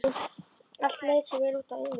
Allt leit svo vel út á yfirborðinu.